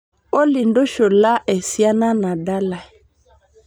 olly ntushula esiana nadalae